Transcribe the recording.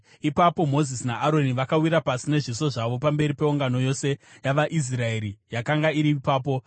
Ipapo Mozisi naAroni vakawira pasi nezviso zvavo pamberi peungano yose yavaIsraeri yakanga iri ipapo.